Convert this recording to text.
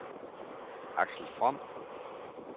Axel From